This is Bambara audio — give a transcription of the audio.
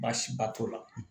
Baasiba t'o la